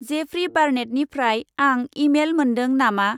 Jeffrey बार्नेटनिफ्राय आं email मोनदों नामा?